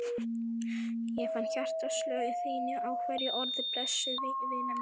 Ég fann hjartaslög þín í hverju orði, blessuð vina mín.